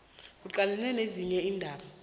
uqalelele nezinye iindaba